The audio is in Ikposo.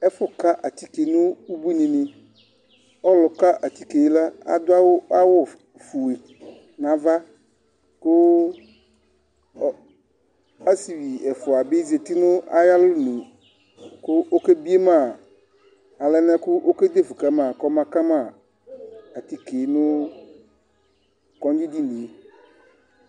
Ɛfu ka atike nu ʋbuini ni Ɔlu ka atike adu awu fʋe nʋ ava kʋ asivi ɛfʋa bi zɛti nʋ ayʋ alɔnʋ kʋ ɔke biema alɛnɛ kʋ ɔke defʋ kama kɔma atike nʋ kɔdzi dìní ye